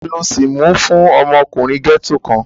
Taló sìí mú fún ọmọkùnrin gẹ́ẹ́tò kan?